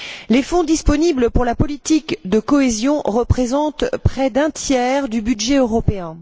Les fonds disponibles pour la politique de cohésion représentent près d'un tiers du budget européen.